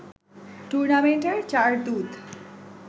টুর্নামেন্টের চার দূত